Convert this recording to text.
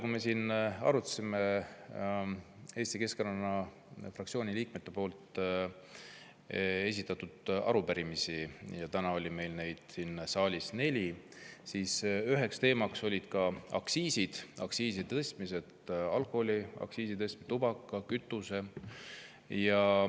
Kui me arutasime siin Eesti Keskerakonna fraktsiooni liikmete esitatud arupärimisi – täna oli neid siin saalis neli –, oli üheks teemaks aktsiisid: aktsiisi tõstmised, alkoholi-, tubaka- ja kütuseaktsiisi tõstmine.